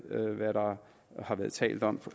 hvad der har været talt om